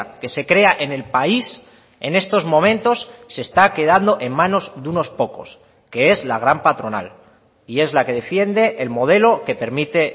que se crea en el país en estos momentos se está quedando en manos de unos pocos que es la gran patronal y es la que defiende el modelo que permite